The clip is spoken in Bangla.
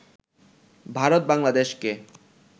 ভারত বাংলাদেশকে